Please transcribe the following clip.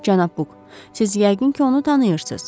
Cənab Buk, siz yəqin ki, onu tanıyırsız.